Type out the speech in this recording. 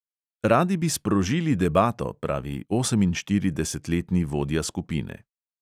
"Radi bi sprožili debato," pravi oseminštiridesetletni vodja skupine.